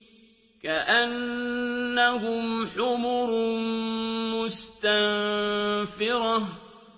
كَأَنَّهُمْ حُمُرٌ مُّسْتَنفِرَةٌ